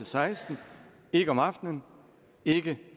seksten ikke om aftenen ikke